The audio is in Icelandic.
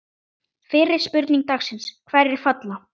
Fyrri spurning dagsins: Hverjir falla?